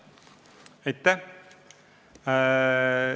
Aitäh!